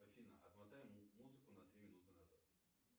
афина отмотай музыку на три минуты назад